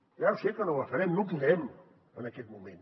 ja ho sé que no la farem no podem en aquest moment